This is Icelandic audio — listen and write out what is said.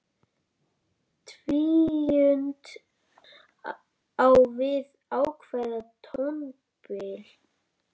Tvíund á við ákveðið tónbil.